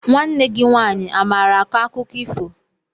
Nwanne gị nwaanyị amaara akọ akụkọ ifo?